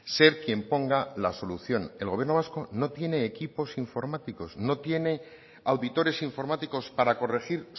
ser quien ponga la solución el gobierno vasco no tiene equipos informáticos no tiene auditores informáticos para corregir